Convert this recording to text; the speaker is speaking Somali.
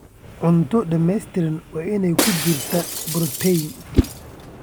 Cunto dhamaystiran waa inay ku jirtaa borotiin.